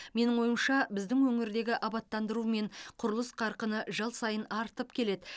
менің ойымша біздің өңірдегі абаттандыру мен құрылыс қарқыны жыл сайын артып келеді